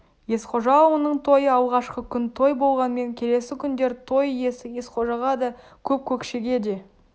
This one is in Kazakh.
есқожа ауылының тойы алғашқы күн той болғанмен келесі күндері той иесі есқожаға да көп көкшеге де